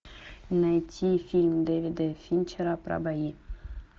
найти фильм дэвида финчера про бои